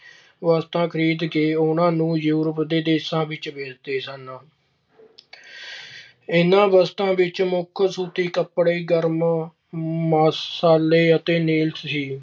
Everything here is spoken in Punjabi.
ਵਸਤਾਂ ਖਰੀਦ ਕੇ ਉਨ੍ਹਾਂ ਨੂੰ Europe ਦੇ ਦੇਸ਼ਾਂ ਵਿੱਚ ਵੇਚਦੇ ਸਨ। ਇਨ੍ਹਾਂ ਵਸਤਾਂ ਵਿੱਚ ਮੁੱਖ ਸੂਤੀ ਕੱਪੜੇ, ਗਰਮ ਮਸਾਲੇ ਅਤੇ ਸੀ